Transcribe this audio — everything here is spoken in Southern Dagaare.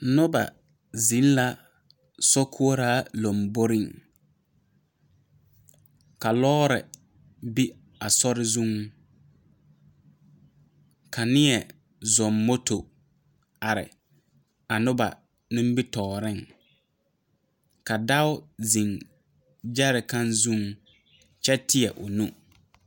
Noba zeŋ la sokoɔraa lanbore ,ka lɔre be a sori zuŋ ka niɛ zoŋ moto are a noba nimitɔɔre ka dɔɔo zeŋ gyarekan zuŋ kyɛ teɛ o nu.